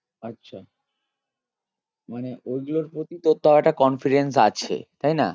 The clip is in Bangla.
আচ্ছা মানে ওই গুলোর প্রতি তোর তাও একটা confidence আছে তাই না?